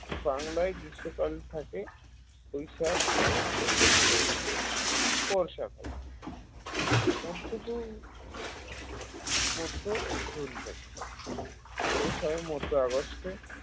বাংলায় গ্রীষ্মকাল থাকে বৈশাখ ও জৈষ্ঠ মাসে বর্ষাকাল মধ্য জুন মধ্যজুন থেকে শেষ হয় মধ্য অগাস্ট